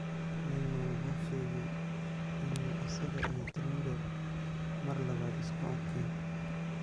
Neymar wuxuu sheegay inuu isaga iyo Trindade mar labaad isku arkeen.